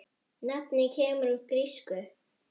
Nafnið kemur úr grísku